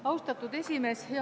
Austatud esimees!